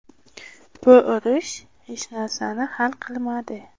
Bu urush hech narsani hal qilmadi.